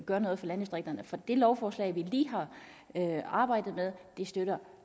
gør noget for landdistrikterne for det lovforslag vi lige har arbejdet med støtter